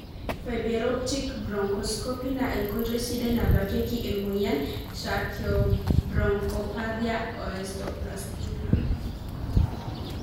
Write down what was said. Fiberoptic bronchoscopy na enkoitoi sidai nabakieki emoyian tracheobronchopathia osteoplastica (TO).